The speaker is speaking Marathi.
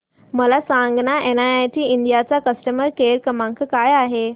मला सांगाना एनआयआयटी इंडिया चा कस्टमर केअर क्रमांक काय आहे